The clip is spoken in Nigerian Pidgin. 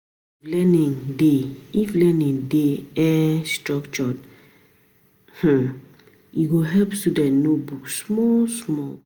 If learning dey structured, e go help students know book small small.